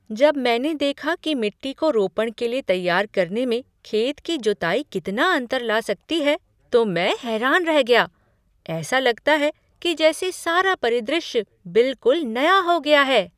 जब मैंने देखा कि मिट्टी को रोपण के लिए तैयार करने में खेत की जुताई कितना अंतर ला सकती है तो मैं हैरान रह गया। ऐसा लगता है कि जैसे सारा परिदृश्य बिलकुल नया हो गया है!